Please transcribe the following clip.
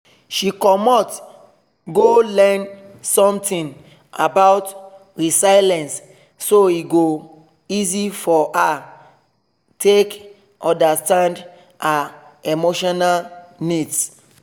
she commot go learn something about resilience so e go easy for her take understand her emotional needs